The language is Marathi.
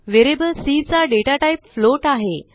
व्हेरिएबल सी चा डेटा टाईप फ्लोट आहे